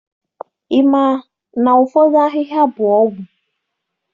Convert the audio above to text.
Ị ma na ụfọdụ ahịhịa bụ ọgwụ?